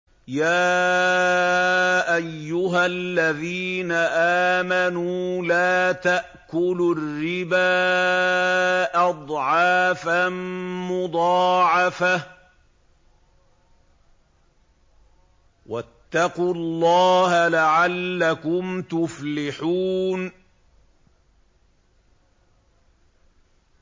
يَا أَيُّهَا الَّذِينَ آمَنُوا لَا تَأْكُلُوا الرِّبَا أَضْعَافًا مُّضَاعَفَةً ۖ وَاتَّقُوا اللَّهَ لَعَلَّكُمْ تُفْلِحُونَ